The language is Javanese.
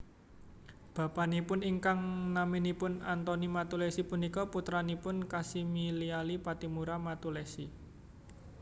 Bapanipun ingkang naminipun Antoni Mattulessy punika putranipun Kasimiliali Pattimura Mattulessy